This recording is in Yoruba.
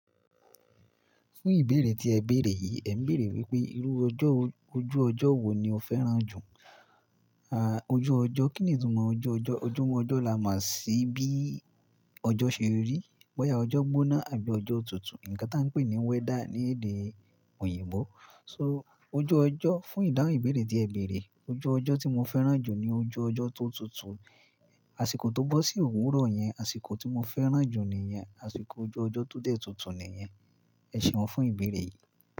Fún ìbéèrè tí ẹ béèrè yìí, ẹ ń béèrè wípé irú ojú ọjọ́ wo ni o féràn jù? À, ojú ọjọ́, kí ni ìtumọ̀ ojú ọjọ́? Ojú ọjọ́ là mo sìí bí ọjọ́ ṣe rí, boyà ọjọ́ gbóná àbí ọjọ́ tútù. Ǹǹkan táa ń pè ní weather ní èdè òyìnbó. So ojú ọjọ́, fún ìdáhùn ìbéèrè tí ẹ béèrè, ojú ọjọ́ tí mo féràn jù ni ojú ọjọ́ tó tùtù. Àsìkò tó bọ́ sí òwúrọ̀ yẹn, àsìkò tí mo féràn jù nìyẹn. Àsìkò ojú ọjọ́ tó dẹ̀ tùtù nìyẹn. Ẹ ṣeun fún ìbéèrè yìí.